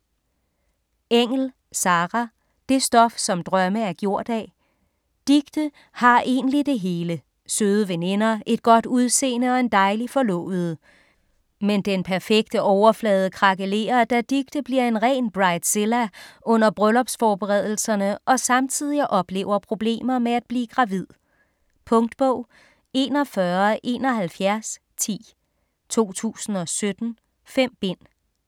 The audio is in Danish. Engell, Sarah: Det stof som drømme er gjort af Dicte har egentlig det hele; søde veninder, et godt udseende og en dejlig forlovede. Men den perfekte overflade krakelerer, da Dicte bliver en ren bridezilla under bryllupsforberedelserne og samtidig oplever problemer med at blive gravid. Punktbog 417110 2017. 5 bind.